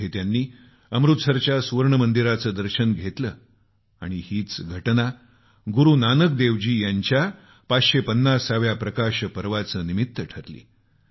तिथं त्यांनी अमृतसरच्या सुवर्णमंदिराचं दर्शन घेतलं आणि हीच घटना गुरूनानक देवजी यांच्या 550 व्या प्रकाश पर्वाचं निमित्त ठरली